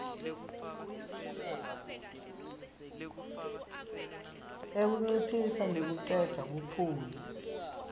ekunciphisa nekucedza buphuya